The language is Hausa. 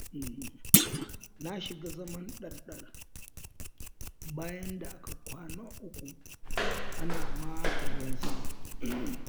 na shiga zaman ɗar-ɗar, bayan da aka kwana uku ana maka ruwan sama.